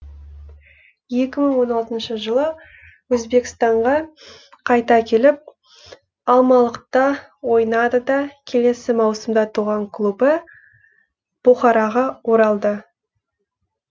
екі мың он алтыншы жылы өзбекстанға қайта келіп алмалықта ойнады да келесі маусымда туған клубы бұхараға оралды